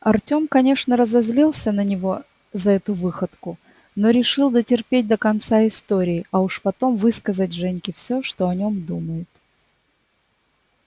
артём конечно разозлился на него за эту выходку но решил дотерпеть до конца истории а уж потом высказать женьке всё что о нём думает